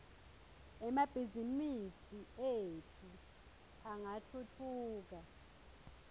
emabhizimisi etfu angatfutfuka